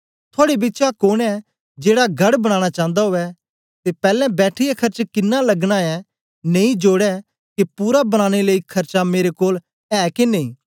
थुआड़े बिचा कोन ऐ जेड़ा गढ़ बनाना चांदा उवै ते पैलैं बैठिऐ खर्च किनां लगनायै नेई जोड़े के पूरा बनाने लेई खर्चा मेरे कोल ऐ के नेई